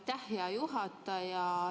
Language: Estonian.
Aitäh, hea juhataja!